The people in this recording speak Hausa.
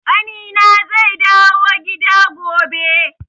Ƙanina zai dawo gida gobe.